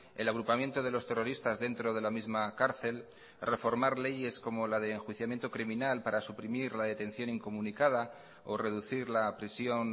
el agrupamiento de los terroristas dentro de la misma cárcel reformar leyes como la de enjuiciamiento criminal para suprimir la detención incomunicada o reducir la prisión